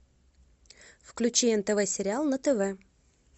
включи нтв сериал на тв